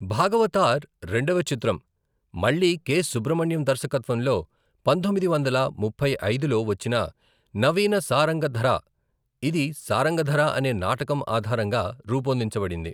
భాగవతార్ రెండవ చిత్రం, మళ్ళీ కె. సుబ్రమణ్యం దర్శకత్వంలో పంతొమ్మిది వందల ముప్పై ఐదులో వచ్చిన నవీన సారంగధర, ఇది సారంగధర అనే నాటకం ఆధారంగా రూపొందించబడింది.